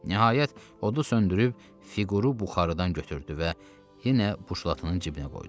Nəhayət, odu söndürüb fiquru buxarıdan götürdü və yenə buşlatının cibinə qoydu.